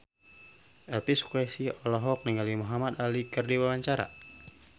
Elvy Sukaesih olohok ningali Muhamad Ali keur diwawancara